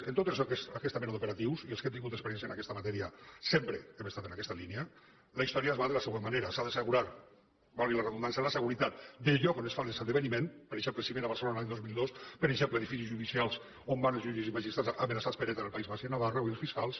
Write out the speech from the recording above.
en tota aquesta mena d’operatius i els que hem tingut experiència en aquesta matèria sempre hem estat en aquesta línia la història va de la següent manera s’ha d’assegurar valgui la redundància la seguretat del lloc on es fa l’esdeveniment per exemple cimera a barcelona l’any dos mil dos per exemple edificis judicials on van els jutges i magistrats amenaçats per eta en el país basc i a navarra o els fiscals